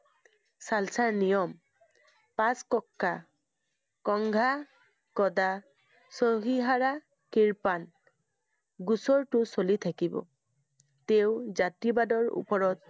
খালছাৰ নিয়ম পাঁচ , কিৰ্পান। গোচৰটো চলি থাকিব। তেওঁ জাতিবাদৰ ওপৰত